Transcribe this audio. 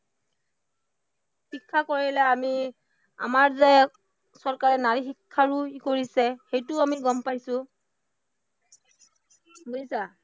শিক্ষা কৰিলে আমি আমাৰ যে চৰকাৰে নাৰী শিক্ষাৰো কৰিছে, সেইটো আমি গম পাইছো, বুজিছা?